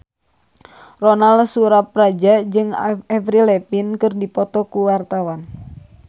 Ronal Surapradja jeung Avril Lavigne keur dipoto ku wartawan